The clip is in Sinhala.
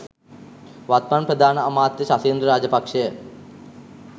වත්මන් ප්‍රධාන අමාත්‍ය ශෂින්ද්‍ර රාජපක්ෂය